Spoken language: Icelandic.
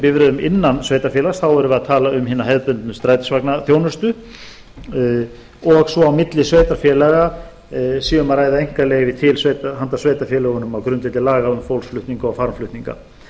bifreiðum innan sveitarfélags þá erum við að tala um hina hefðbundnu strætisvagnaþjónustu og svo að á milli sveitarfélaga sé um að ræða einkaleyfi handa sveitarfélögunum á grundvelli laga um fólksflutninga og farmflutninga